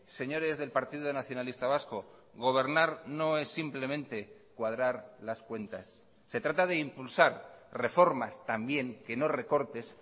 señores del partido nacionalista vasco gobernar no es simplemente cuadrar las cuentas se trata de impulsar reformas también que no recortes